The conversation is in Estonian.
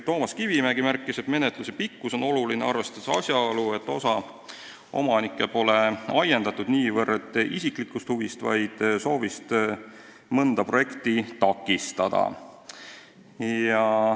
Toomas Kivimägi märkis, et menetluse pikkus on oluline, arvestades asjaolu, et osa omanike vastasseis pole ajendatud mitte niivõrd isiklikust huvist, kuivõrd soovist mõnda projekti takistada.